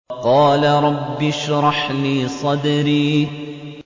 قَالَ رَبِّ اشْرَحْ لِي صَدْرِي